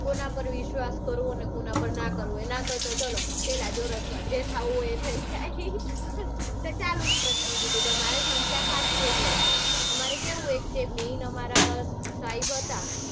કોના પાર વિશ્વાસ કરવો ને કોના પાર ના કરવો. એના કરતા ચાલો પેલા જ ઓળખવા. જે થાઉં હોય એ થઇ જાય એટલે ચાલુ જ કરી દીધું તું તમાટે સંખ્યા ઘણી બધી હશે. અમારે કેવું અમારે એક મેન અમારા સાહેબ હતા